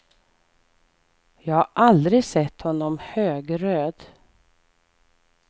Jag har aldrig sett honom högröd.